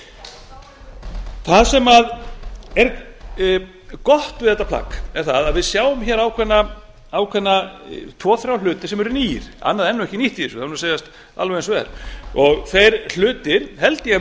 föst það sem er gott við þetta plagg er það að við sjáum ákveðna tvo þrjá hluti sem eru nýir annað er ekki nýtt í þessu það verður að segjast alveg eins og